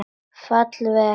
Falla vel að henni.